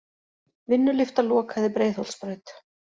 Vinnulyfta lokaði Breiðholtsbraut